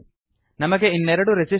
ನಮಗೆ ಇನ್ನೆರಡು ರೆಸಿಸ್ಟರ್ ಗಳು ಬೇಕಾಗಿವೆ